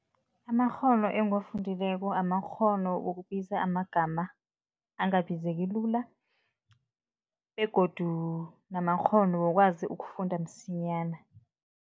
Amakghono engiwafundileko, amakghono wokubiza amagama angabizeki lula begodu namakghono wokwazi ukufunda msinyana.